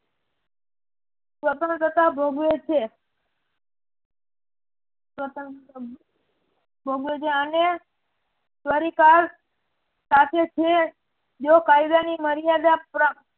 સ્વતંત્રતા ભોગવે છે. ભોગવે છે અને જો કાયદાની મર્યાદા પણ